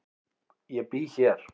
Ég bý hér.